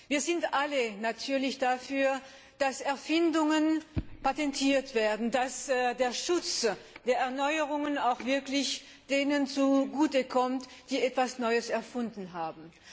Wir sind alle natürlich dafür, dass Erfindungen patentiert werden, dass der Schutz der Erneuerungen auch wirklich denen zugute kommt, die etwas Neues erfunden haben.